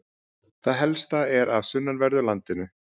það helsta er af sunnanverðu landinu